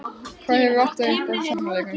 Hvað hefur vantað upp á í sóknarleiknum?